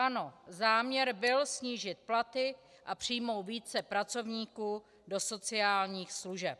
Ano, záměr byl snížit platy a přijmout více pracovníků do sociálních služeb.